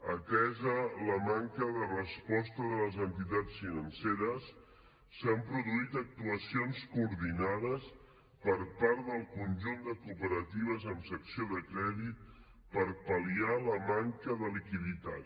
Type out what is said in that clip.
atesa la manca de resposta de les entitats financeres s’han produït actuacions coordinades per part del conjunt de cooperatives amb secció de crèdit per pal·liar la manca de liquiditat